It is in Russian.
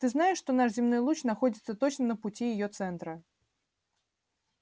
ты знаешь что наш земной луч находится точно на пути её центра